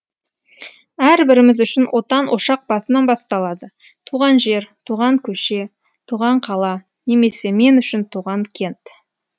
әрбір отбасы үшін отан ошақ басынан басталады туған жер туған көше туған қала немесе мен үшін туған кент